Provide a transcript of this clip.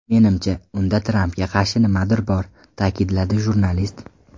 Menimcha, unda Trampga qarshi nimadir bor”, ta’kidladi jurnalist.